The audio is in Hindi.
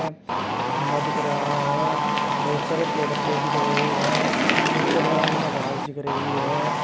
खंबा दिख रहा हैं बहोत सारे पेड़ पौधें दिख रहे है नीचे ग्राउंड में घास दिख रही हैं।